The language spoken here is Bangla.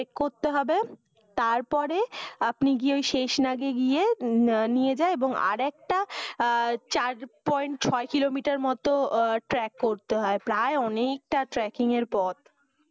করতে হবে। তারপরে আপনি গিয়ে শেষনাগে গিয়ে নিয়ে যায় এবং আরেকটা চার point ছয় kilometre এর মতো ট্র্যাক করতে হয়। প্রায় অনেকটা tracking এর পথ।